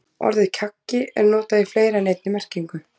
Orðið kaggi er notað í fleiri en einni merkingu.